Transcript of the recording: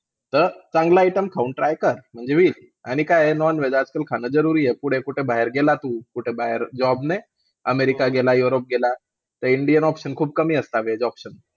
तर चांगला item खाऊन, try कर म्हणजे वीक. आणि काय आहे, non-veg आजकाल खाणं जरुरी आहे. पुढे कुठे बाहेर गेला तू, कुठेबाहेर job ने, अमेरिका गेला, युरोप गेला, तर इंडियन options खूप कमी असतात. VEG OPTIONS